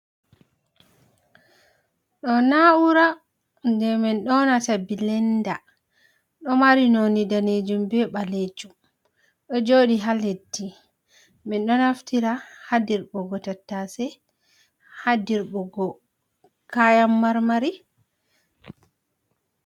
Ɗoo naaura jey min ƴoonata Bilenda, ɗo mari noone daneejum bee ɓaleejum, ɗo joodi haa leddi, min ɗo naftira haa dirɓugo tattase, haa dirɓugo kayan mar - mari.